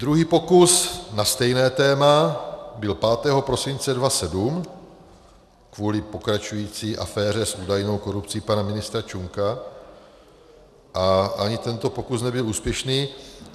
Druhý pokus na stejné téma byl 5. prosince 2007 kvůli pokračující aféře s údajnou korupcí pana ministra Čunka a ani tento pokus nebyl úspěšný.